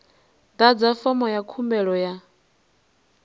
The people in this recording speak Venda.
ḓadza fomo ya khumbelo ya